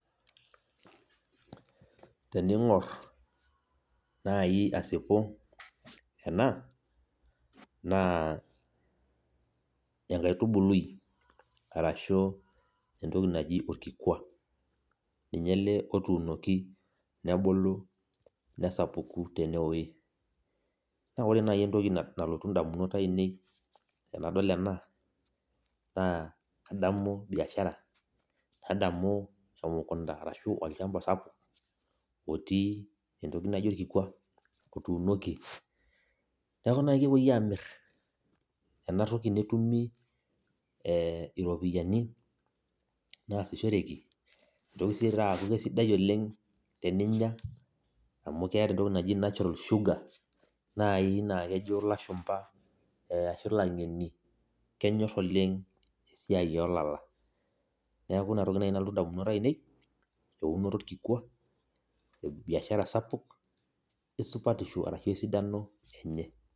Teneing'or naaji asipu ena naa enkaitubului ashu entoki naji orkikua ninye ele otuunoki tenewueji naa ore naaji entoki nalotu indamunot aainei tenadol ena naa kadamu biashara nadamu emukunta natii orkikua otuunoki neeku naaji kepuii aamir enatoki netumi iropiyiani nitoki aaku keisidai teninyia amu keeta entoki naji natural sugar naai naa kejo ilashumba ashuu ilang'eni kenyor esiai oolala neeku inatoki naaji nalotu indamunot aainei eeunoto orkikua esupatisho ashuu esidano enye.